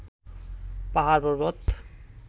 পাহাড়-পর্বত.